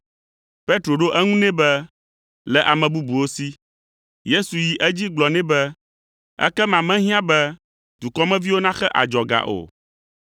Petro ɖo eŋu nɛ be, “Le ame bubuwo si.” Yesu yi edzi gblɔ nɛ be, “Ekema mehiã be dukɔmeviwo naxe adzɔga o.”